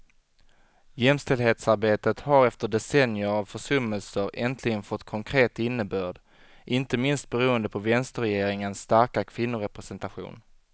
Jämställdhetsarbetet har efter decennier av försummelser äntligen fått konkret innebörd, inte minst beroende på vänsterregeringens starka kvinnorepresentation.